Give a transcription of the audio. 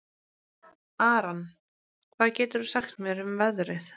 Aran, hvað geturðu sagt mér um veðrið?